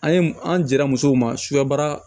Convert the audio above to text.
An ye an dira musow ma suya baara